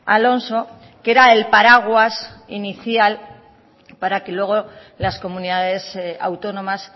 alonso que era el paraguas inicial para que luego las comunidades autónomas